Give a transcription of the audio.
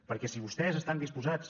perquè si vostès estan disposats